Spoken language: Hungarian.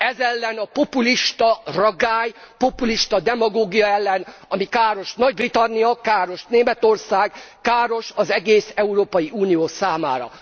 Ez ellen a populista ragály, populista demagógia ellen, ami káros Nagy Britannia, káros Németország, káros az egész Európai Unió számára.